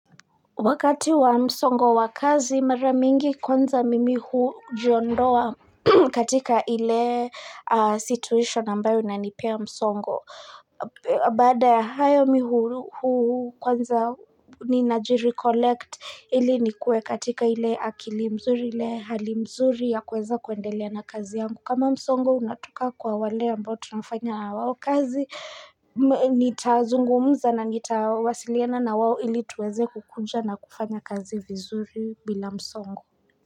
Wakati wa msongo wa kazi mara mingi kwanza mimi hujiondoa katika ile situation ambayo inanipea msongo. Baada ya hayo mimi hu kwanza ninajirecollect ili nikuwe katika ile akili mzuri ile hali mzuri ya kuweza kuendelea na kazi yangu. Kama msongo unatoka kwa wale ambao tunafanya na wao kazi nitazungumza na nitawasiliana na wao ili tuweze kukuja na kufanya kazi vizuri bila msongo.